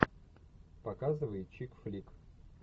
показывай чик флик